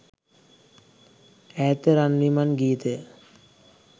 ඈත රන් විමන් ගීතය